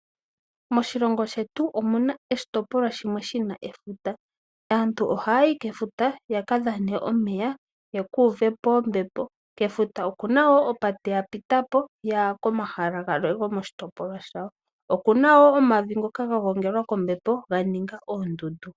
Moshilongo shetu omuna oshitopolwa shimwe shina efuta, aantu ohaya yi kefuta yaka dhane omeya, yeku uvepo ombepo. Kefuta okuna woo opate ya pita po yaya komahala galwe go moshitopolwa shawo. Okuna woo omavu ngoka ga gongelwa kombepo, ga ninga oondundu.